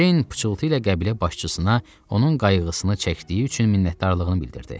Jane pıçıltı ilə qəbilə başçısına onun qayğısını çəkdiyi üçün minnətdarlığını bildirdi.